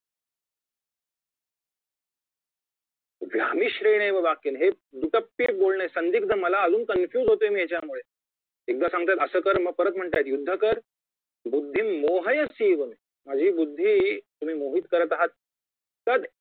व्यामिश्रेणेव वाक्येंन हे दुट्टप्पी बोलणे संधिक्त मला अजून confuse होतोय मी याच्यामुळे एकदा सांगतात असं कर मग परत म्हणताय युद्ध कर बुद्धि मोहयसीव मे माझी बुद्धी तुम्ही मोहि त करत आहात तद